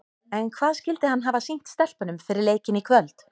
En hvað skyldi hann hafa sýnt stelpunum fyrir leikinn í kvöld?